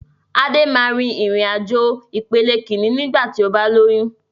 Adé máa rìn-ìrìn àjò ìpele Kínní ni igba ti o ba lóyún